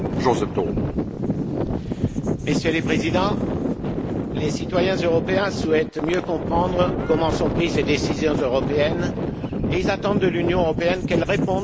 Messieurs les Présidents, les citoyens européens souhaitent mieux comprendre comment les décisions européennes sont prises et ils attendent de l'Union européenne qu'elle réponde de façon concrète à leurs préoccupations.